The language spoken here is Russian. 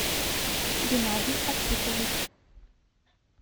геннадий архипович